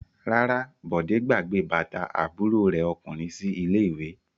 Rárá, Bọ̀dé gbàgbé bàtà àbúrò rẹ̀ ọkùnrin sí ilé-ìwé.